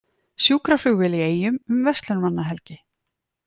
Sjúkraflugvél í Eyjum um verslunarmannahelgi